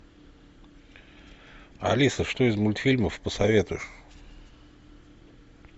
алиса что из мультфильмов посоветуешь